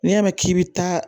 N'i y'a mɛn k'i bɛ taa